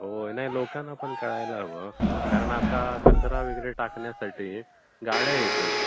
होय, होय. नाही लोकांना पण कळायला हवं ना कारण आता कचरा वगैरे टाकण्यासाठी गाड्या येतात.